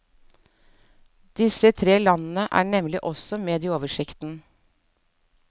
Disse tre landene er nemlig også med i oversikten.